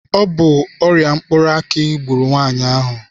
Ọ bụ ọrịa mkpụrụ aki gburu nwaanyị ahụ.